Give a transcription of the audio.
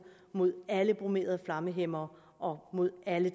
mod alle bromerede flammehæmmere og mod alle